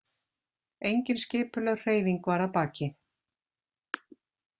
Engin skipulögð hreyfing var að baki.